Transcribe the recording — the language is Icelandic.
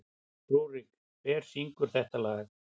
Rúrik, hver syngur þetta lag?